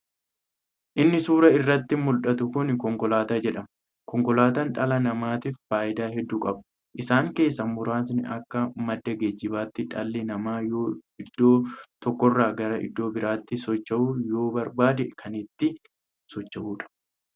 Inni suuraa irratti muldhatu kun konkolaata jedhama. konkolaataan dhala namaatiif faayidaa hedduu qaba. Isaan keessaa muraasni akka madda geejjibaatti dhalli namaa yoo iddoo tokkorra gara iddoo biraatti socho'uu yoo barbaade kan ittiin socho'uudha.